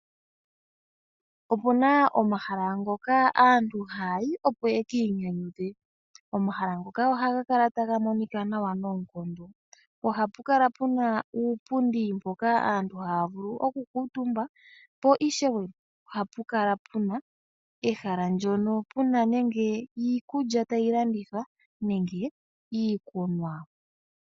Opuna omahala ngoka aantu haya yi opo yeki inyanyudhe. Omahala ngoka ohaga kala taga monika nawa noonkondo. Ohapu kala puna uupundi mpoka aantu taya vulu oku kuutumba. Po ishewe oha pu kala puna ehala ndjono puna nenge iikulya tayi landithwa nenge iikunwa.